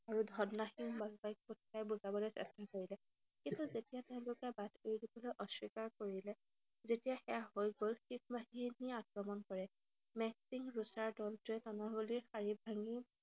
আৰু ধৰ্ণাহীনভাৱে বুজাবলৈ চেষ্টা কৰিলে। কিন্তু যেতিয়া তেওঁলোকে বাট এৰি দিবলৈ অস্বীকাৰ কৰিলে, যেতিয়া সেয়া হৈ গল, শিখ বাহিনীয়ে আক্ৰমণ কৰে। মেহসিং ৰুছাৰ দলটোৱে তানাৱালিৰ শাৰী ভাঙি